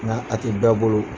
Nka a tɛ bƐƐ bolo